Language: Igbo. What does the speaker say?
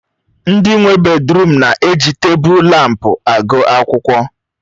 Ndị nwe bèdrụm na-eji tebụl lámpu agụ akwụkwọ.